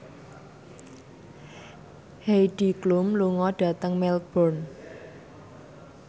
Heidi Klum lunga dhateng Melbourne